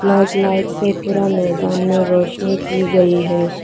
और लाइट्स से पूरा मैदान में रोशनी की गई है।